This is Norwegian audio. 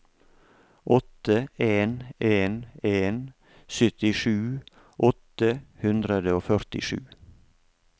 åtte en en en syttisju åtte hundre og førtisju